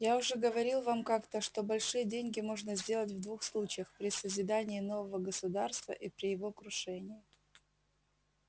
я уже говорил вам как-то что большие деньги можно сделать в двух случаях при созидании нового государства и при его крушении